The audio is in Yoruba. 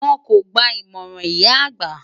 Wọn kò gba ìmọ̀ràn ìyá àgbà.